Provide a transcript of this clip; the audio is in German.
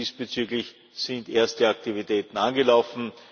Diesbezüglich sind erste Aktivitäten angelaufen.